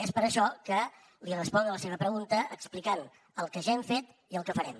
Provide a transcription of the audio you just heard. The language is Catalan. és per això que li responc a la seva pregunta explicant el que ja hem fet i el que farem